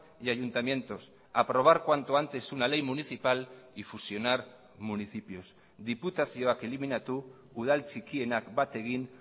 y ayuntamientos aprobar cuanto antes una ley municipal y fusionar municipios diputazioak eliminatu udal txikienak bat egin